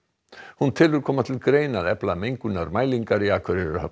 hún telur koma til greina að efla mengunarmælingar í Akureyrarhöfn